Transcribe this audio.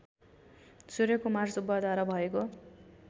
सूर्यकुमार सुब्बाद्वारा भएको